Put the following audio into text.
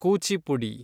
Kuchipudi